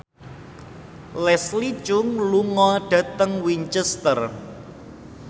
Leslie Cheung lunga dhateng Winchester